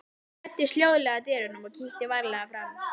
Ég læddist hljóðlega að dyrunum og kíkti varlega fram.